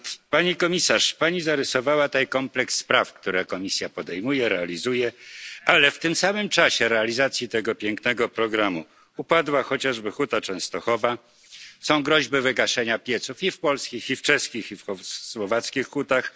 Pani komisarz, pani zarysowała tutaj kompleks spraw, które Komisja podejmuje, ale w czasie realizacji tego pięknego programu upadła chociażby Huta Częstochowa, są groźby wygaszenia pieców i w polskich, i w czeskich, i w słowackich hutach.